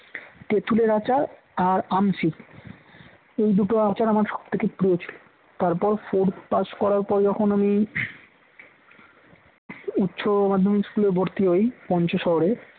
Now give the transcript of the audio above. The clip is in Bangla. তেতুলের আচার আর আমশি এই দুটো আচার আমার সবথেকে প্রিয় ছিল তারপর four pass করার পর যখন আমি উচ্চ মাধ্যমিক school এ ভর্তি হই পঞ্চ শহরে